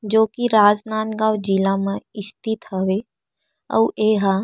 जो की राजनांदगाँव जिला म स्थित हवे आऊ ये ह--